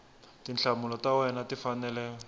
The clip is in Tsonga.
tinhlamulo ta wena ti fanele